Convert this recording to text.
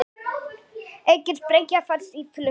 Engin sprengja fannst í flugvél